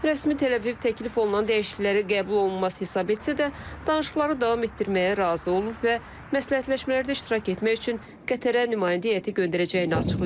Rəsmi Təl-Əviv təklif olunan dəyişiklikləri qəbul olunmaz hesab etsə də, danışıqları davam etdirməyə razı olub və məsləhətləşmələrdə iştirak etmək üçün Qətərə nümayəndə heyəti göndərəcəyini açıqlayıb.